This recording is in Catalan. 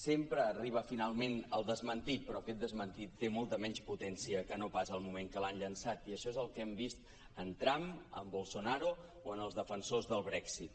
sempre arriba finalment el desmentit però aquest desmentit té molta menys potència que no pas el moment en què l’han llançat i això és el que hem vist en trump en bolsonaro o en els defensors del brexit